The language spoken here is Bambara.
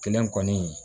Kelen kɔni